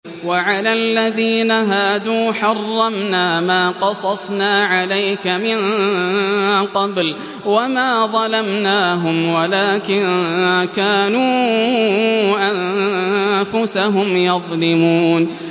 وَعَلَى الَّذِينَ هَادُوا حَرَّمْنَا مَا قَصَصْنَا عَلَيْكَ مِن قَبْلُ ۖ وَمَا ظَلَمْنَاهُمْ وَلَٰكِن كَانُوا أَنفُسَهُمْ يَظْلِمُونَ